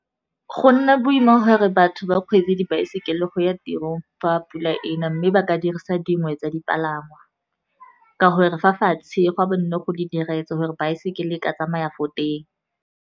Go nna boima gore batho ba kgweetse dibaesekele go ya tirong fa pula ena, mme ba ka dirisa dingwe tsa dipalangwa, ka gore fa fatshe gwa bo nne go le diretse gore baesekele e ka tsamaya fo teng.